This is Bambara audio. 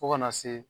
Fo kana se